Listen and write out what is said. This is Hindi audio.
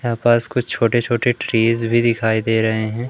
यहां पास कुछ छोटे छोटे ट्रीज भी दिखाई दे रहे हैं।